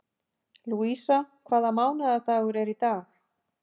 Lúísa, hvaða mánaðardagur er í dag?